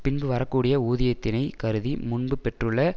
பின்பு வரக்கூடிய ஊதியத்தினைக் கருதி முன்பு பெற்றுள்ள